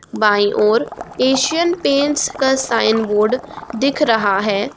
By ओर Asian Paints का sign board दिख रहा है।